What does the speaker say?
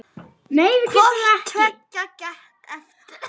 Hvort tveggja gekk eftir.